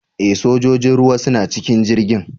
E! sojojin ruwa suna cikin jirgin.